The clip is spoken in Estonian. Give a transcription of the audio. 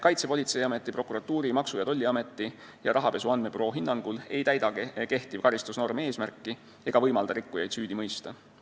Kaitsepolitseiameti, prokuratuuri, Maksu- ja Tolliameti ning rahapesu andmebüroo hinnangul ei täida kehtiv karistusnorm eesmärki ega võimalda rikkujaid süüdi mõista.